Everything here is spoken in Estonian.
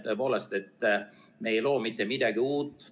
Tõepoolest, me ei loo mitte midagi uut.